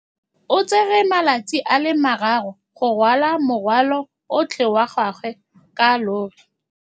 O tsere malatsi a le marraro go rwala morwalo otlhe wa gagwe ka llori.